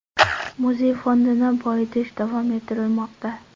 Muzey fondini boyitish davom ettirilmoqda.